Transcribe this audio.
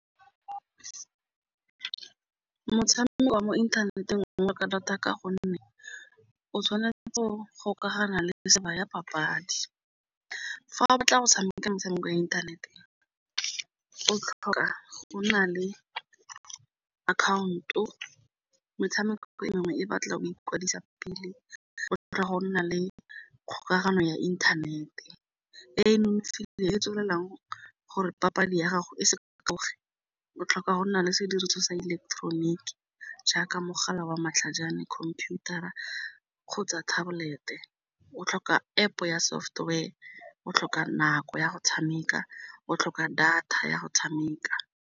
Motshameko wa mo inthaneteng data ka gonne o tshwanetse gore gokagana le ya papadi, fa o batla go tshameka metshameko ya inthaneteng o tlhoka go nna le account-o, metshameko e mengwe e batla go ikwadisa pele o tlhoka go nna le kgokagano ya internet-e, tswelelang gore papadi ya gago e se o tlhoka go nna le sediriswa sa ileketeroniki jaaka mogala wa matlhajana, computer a kgotsa tablet-e o tlhoka App ya software, o tlhoka nako ya go tshameka, o tlhoka data ya go tshameka.